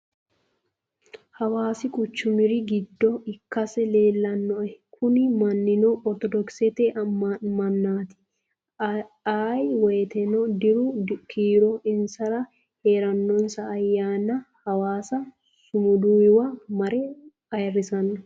Hawaasi quchumir giddo ikkasi leellanoe. Kuni mannino ortodokisete mannaati. Ayee woyiiteno diru kiiro insara heeranonsa ayyaana hawasa sumuduyiwa mare ayiirrisanno.